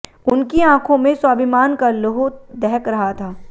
उनकी आंखों में स्वाभिमान का लौह दहक रहा था